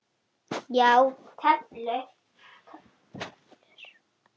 Já, töflur.